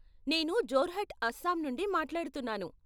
నేను జొర్హట్ అస్సాం నుండి మాట్లాడుతున్నాను.